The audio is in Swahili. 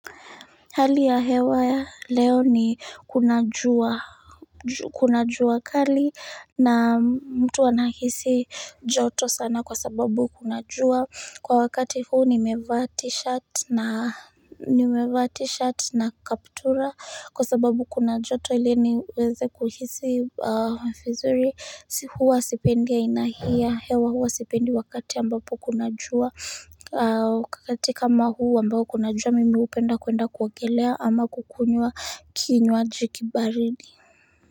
Hali ya hewa ya leo ni kunajua kunajua kali na mtu anahisi joto sana kwa sababu kunajua kwa wakati huu ni mevaa t-shirt na kaptura kwa sababu kunajoto ili niweze kuhisi vizuri huwa sipendi aina hii ya hewa huwa sipendi wakati ambapo kunajua wakati kama huu ambayo kunajua mimi upenda kwenda kuogelea ama kukunywa kinywaji kibaridi.